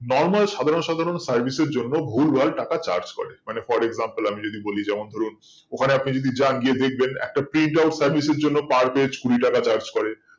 normal সাধারণ সাধারণ service এর জন্য ভুল ভাল টাকা charge করে মানে পরের আমি যদি বলি যেমন ধরুন ওই খানে আপনি যদি যান গিয়ে দেখবেন একটা print out এর জন্য পার page কুড়ি টাকা charge করে